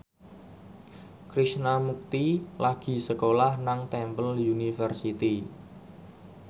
Krishna Mukti lagi sekolah nang Temple University